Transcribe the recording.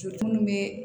So munnu bɛ